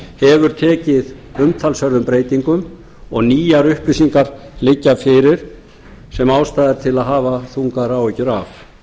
hefur tekið umtalsverðum breytingum og nýjar upplýsingar liggja fyrir sem ástæða er til að hafa þungar áhyggjur af